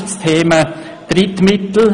Das eine Beispiel ist das Thema Drittmittel.